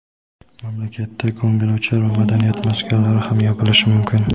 mamlakatda ko‘ngilochar va madaniyat maskanlari ham yopilishi mumkin.